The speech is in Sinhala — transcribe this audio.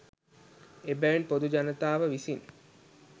එබැවින් පොදු ජනතාව විසින්